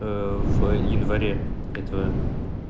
в в январе этого